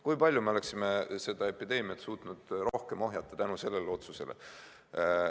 Kui palju me oleksime seda epideemiat suutnud rohkem ohjeldada tänu sellele otsusele.